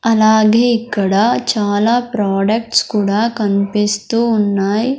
అలాగే ఇక్కడ చాలా ప్రొడక్ట్స్ కూడా కన్పిస్తూ ఉన్నాయ్.